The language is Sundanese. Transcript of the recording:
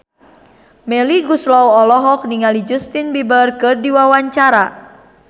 Melly Goeslaw olohok ningali Justin Beiber keur diwawancara